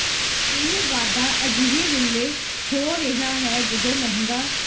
ਇਹ ਵਾਧਾ ਅਜਿਹੇ ਵੇਲੇ ਹੋ ਰਿਹਾ ਹੈ ਜਦੋਂ ਮਹਿੰਗਾ